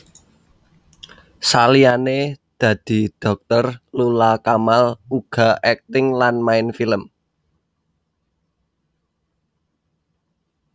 Saliyané dadi dhokter Lula Kamal uga akting lan main film